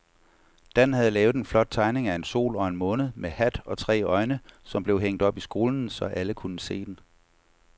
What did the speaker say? Dan havde lavet en flot tegning af en sol og en måne med hat og tre øjne, som blev hængt op i skolen, så alle kunne se den.